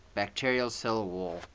bacterial cell wall